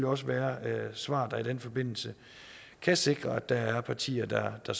også være svar der i den forbindelse kan sikre at der er partier der der